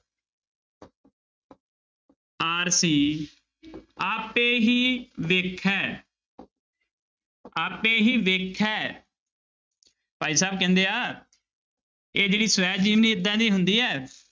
ਆਰਸੀ ਆਪੈ ਹੀ ਵੇਖੈ ਆਪੇ ਹੀ ਵੇਖੈ ਭਾਈ ਸਾਹਿਬ ਕਹਿੰਦੇ ਆ ਇਹ ਜਿਹੜੀ ਸਵੈ ਜੀਵਨੀ ਏਦਾਂ ਦੀ ਹੁੰਦੀ ਹੈ